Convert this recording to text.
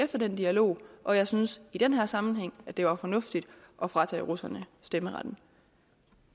efter den dialog og jeg synes i den her sammenhæng det var fornuftigt at fratage russerne stemmeretten